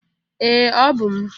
Ee! Ọ bụ m.